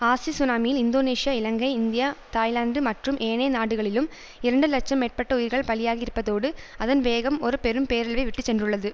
ஆசி சுனாமியில் Indonesia Ilangai India Thailand மற்றும் ஏனைய நாடுகளிலும் இரண்டு இலட்சம் மேற்பட்ட உயிர்கள் பலியாகி இருப்பதோடு அதன் வேகம் ஒரு பெரும் பேரழிவை விட்டு சென்றுள்ளது